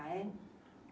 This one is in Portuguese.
Ah, é?